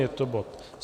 Je to bod